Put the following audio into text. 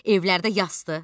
Evlərdə yasdır.